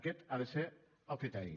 aquest ha de ser el criteri